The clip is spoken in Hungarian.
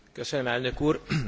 Biztos Asszony!